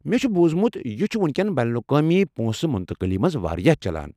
مےٚ چھُ بوٗزمُت یہِ چھُ وُنکٮ۪ن بین االاقوامی پونٛسہٕ منتقلی منٛز واریاہ چلان۔